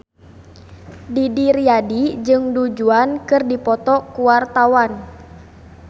Didi Riyadi jeung Du Juan keur dipoto ku wartawan